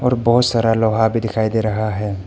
और बहोत सारा लोहा भी दिखाई दे रहा है।